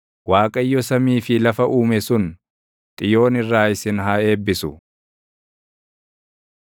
Waaqayyo samii fi lafa uume sun Xiyoon irraa isin haa eebbisu.